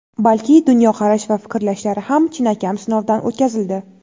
balki dunyoqarash va fikrlashlari ham chinakam sinovdan o‘tkazildi.